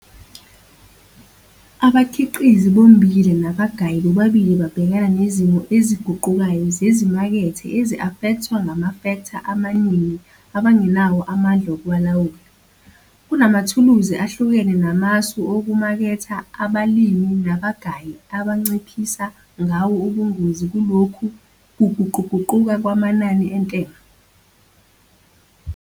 Abakhiqizi bommbila nabagayi bobabili babhekana nezimo eziguqukayo zezimakethe ezi-afekthwa ngamafektha amaningi abangenawo amandla okuwalawula. Kunamathuluzi ahlukene namasu okumaketha abalimi nabagayi abanciphisa ngawo ubungozi kulokhu kuguquguquka kwamanani entengo.